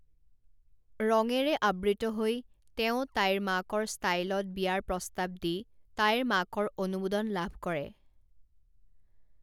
ৰঙেৰে আবৃত হৈ তেওঁ তাইৰ মাকৰ ষ্টাইলত বিয়াৰ প্ৰস্তাৱ দি তাইৰ মাকৰ অনুমোদন লাভ কৰে।